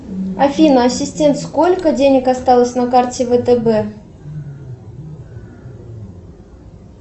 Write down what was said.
афина ассистент сколько денег осталось на карте втб